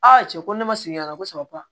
cɛ ko ne ma segin ka na ko saba